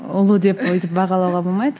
ұлы деп өйтіп бағалауға болмайды